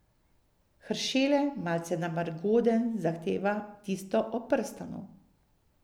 Heršele, malce namrgoden, zahteva tisto o prstanu.